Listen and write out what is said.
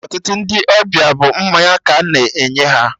Ọtụtụ Ndị ọbịa bụ mmanya ka a na-enye ha